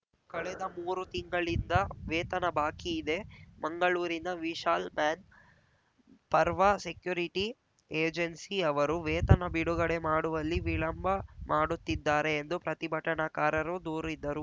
ಕಳೆದ ಮೂರು ತಿಂಗಳಿಂದ ವೇತನ ಬಾಕಿ ಇದೆ ಮಂಗಳೂರಿನ Vishal manpower security agency ಅವರು ವೇತನ ಬಿಡುಗಡೆ ಮಾಡುವಲ್ಲಿ ವಿಳಂಬ ಮಾಡುತ್ತಿದ್ದಾರೆ ಎಂದು ಪ್ರತಿಭಟನಾಕಾರರು ದೂರಿದ್ದರು